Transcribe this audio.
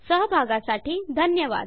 सहभागासाठी धन्यवाद